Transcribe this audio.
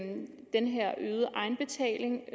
den her øgede egenbetaling